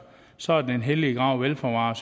så er den hellige grav vel forvaret